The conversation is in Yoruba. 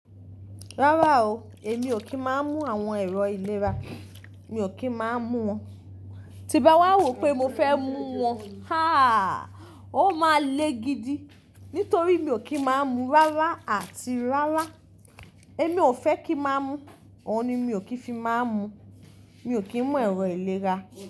Rárá o, èmi ò kí ń má mú àwọn èrò ìlera, mi ò kí ń má mú wọn. Tí bá wá wó pé mo fẹ́ mú wọn, háà! Ó máa le gidi, nítorí mi ò kí ń má mú rárá àti rárá. Èmi ò fẹ́ kí ń má mú, òun ni mi ò kí ń fi má mú. Mi ò kí ń mú èrò ìlera.